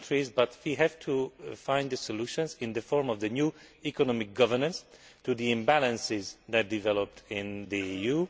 But we have to find the solutions in the form of the new economic governance to the imbalances that developed in the EU.